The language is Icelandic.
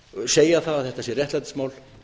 segja það að þetta sé réttlætismál